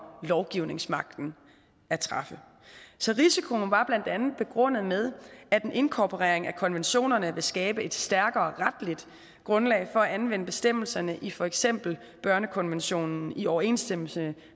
lovgivningsmagten at træffe så risikoen var blandt andet begrundet med at en inkorporering af konventionerne ville skabe et stærkere retligt grundlag for at anvende bestemmelserne i for eksempel børnekonventionen i overensstemmelse